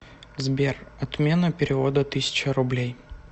сбер отмена перевода тысяча рублей